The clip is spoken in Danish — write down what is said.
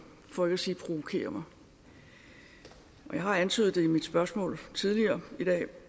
for ikke at sige provokerer mig og jeg har antydet det i et spørgsmål tidligere i dag